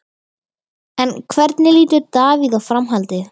En hvernig lítur Davíð á framhaldið?